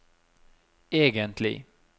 egentlig